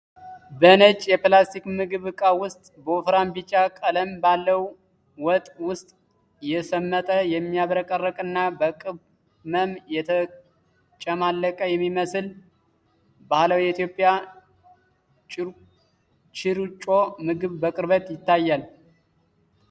በነጭ የፕላስቲክ ምግብ ዕቃ ውስጥ፣ በወፍራም ቢጫ ቀለም ባለው ወጥ ውስጥ የሰመጠ፣ የሚያብረቀርቅ እና በቅመም የተጨማለቀ የሚመስል ባህላዊ የኢትዮጵያ ችርጮ ምግብ በቅርበት ይታያል።